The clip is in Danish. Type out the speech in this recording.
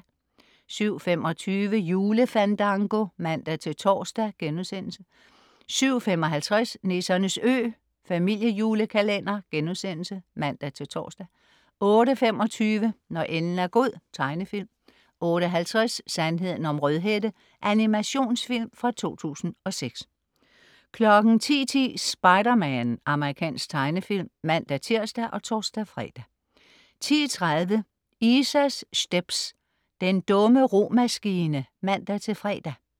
07.25 Julefandango (man-tors)* 07.55 Nissernes Ø*. Familiejulekalender (man-tors) 08.25 Når enden er god. Tegnefilm 08.50 Sandheden om Rødhætte. Animationsfilm fra 2006 10.10 Spider-Man. Amerikansk tegnefilm (man-tirs og tors-fre) 10.30 Isa's stepz. Den dumme romaskine (man-fre)